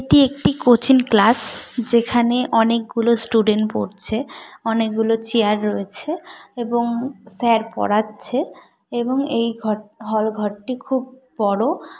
এটি একটি coaching class যেখানে অনেকগুলো স্টুডেন্ট পড়ছে অনেকগুলো চেয়ার রয়েছে এবং স্যার পড়াচ্ছে এবং এই ঘরটি হল ঘরটি খুব বড়।